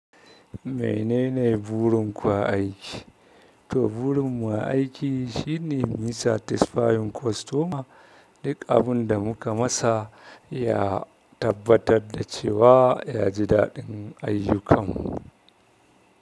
Menene burin ku a aiki? To burin mu a aiki shine muyi satisfying customer. Duk abun da muka masa ya tabbatar da cewa ya ji daɗin ayyukanmu.